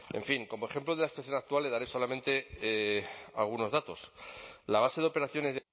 en fin como ejemplo de la situación actual le daré solamente algunos datos la base de operaciones